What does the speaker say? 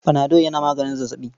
Panadol yana maganin zazzaɓi.